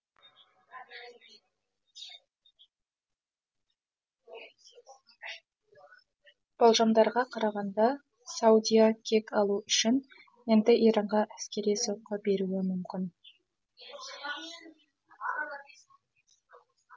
болжамдарға қарағанда саудия кек алу үшін енді иранға әскери соққы беруі мүмкін